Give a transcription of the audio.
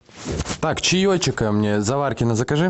так чаечика мне заваркино закажи